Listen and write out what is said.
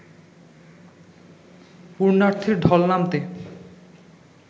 পুন্যার্থীর ঢল নামতে